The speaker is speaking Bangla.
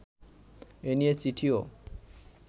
এ নিয়ে চিঠিও